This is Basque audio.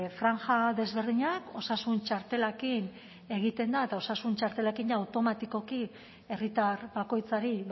franja desberdinak osasun txartelarekin egiten da eta osasun txartelarekin jada automatikoki herritar bakoitzari